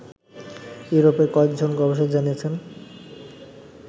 ইউরোপের কয়েকজন গবেষক জানিয়েছেন